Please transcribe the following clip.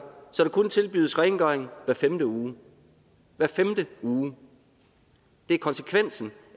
så der kun tilbydes rengøring hver femte uge hver femte uge det er konsekvensen